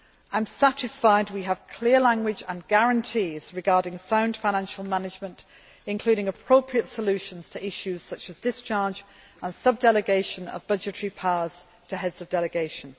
I am satisfied that we have clear language and guarantees regarding sound financial management, including appropriate solutions to issues such as discharge and sub delegation of budgetary powers to heads of delegation.